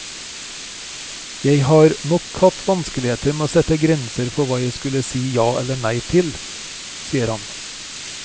Jeg har nok hatt vanskeligheter med å sette grenser for hva jeg skulle si ja eller nei til, sier han.